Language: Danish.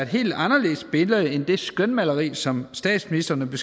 helt anderledes billede end det skønmaleri som statsministeren